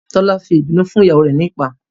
Tolu fi ìbínú fún ìyàwó rẹ̀ nípàá